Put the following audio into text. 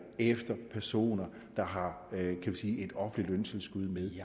efter personer der har et offentligt løntilskud med